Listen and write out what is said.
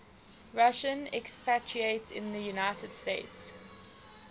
russian expatriates in the united states